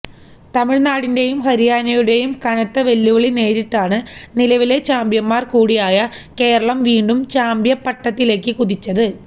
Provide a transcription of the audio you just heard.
തമിഴ്നാടിന്റെയും ഹരിയാനയുടെയും കനത്ത വെല്ലുവിളി നേരിട്ടാണ് നിലവിലെ ചാമ്പ്യന്മാര് കൂടിയായ കേരളം വീണ്ടും ചാമ്പ്യന്പട്ടത്തിലേക്ക് കുതിച്ചത്